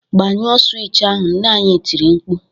"Gbanyụọ swịtch ahụ!" Nne ya tiri mkpu